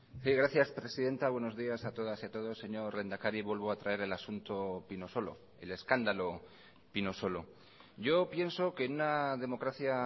sí gracias presidenta buenos días a todas y a todos señor lehendakari vuelvo a traer el asunto pinosolo el escándalo pinosolo yo pienso que en una democracia